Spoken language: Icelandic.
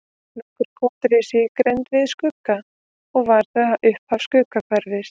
Nokkur kot risu í grennd við Skugga og var það upphaf Skuggahverfis.